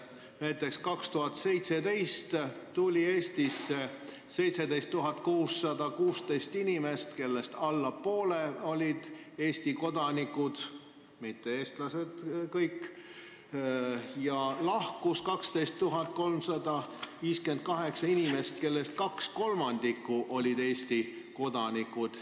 Näiteks tuli 2017. aastal Eestisse 17 616 inimest, nendest alla poole olid Eesti kodanikud, mitte eestlased kõik, ja lahkus 12 358 inimest, kellest kaks kolmandikku olid Eesti kodanikud.